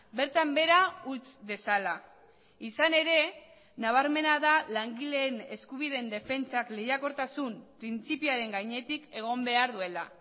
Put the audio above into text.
bertan behera utz dezala izan ere nabarmena da langileen eskubideen defentsak lehiakortasun printzipioaren gainetik egon behar duela